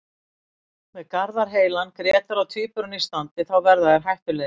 Með Garðar heilan, Grétar og Tvíburana í standi þá verða þeir hættulegir.